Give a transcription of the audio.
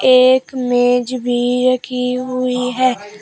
एक मेज़ भी रखी हुई है।